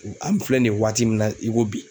an filɛ nin ye waati min na i ko bi